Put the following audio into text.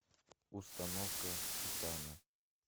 установка титана